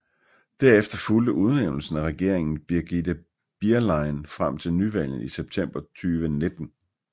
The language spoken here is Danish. Derefter fulgte udnævnelsen af regeringen Brigitte Bierlein frem til nyvalgene i september 2019